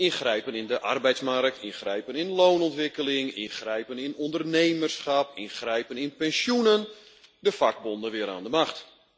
Ingrijpen in de arbeidsmarkt, ingrijpen in loonontwikkeling, ingrijpen in ondernemerschap, ingrijpen in pensioenen, de vakbonden weer aan de macht.